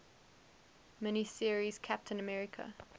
mini series captain america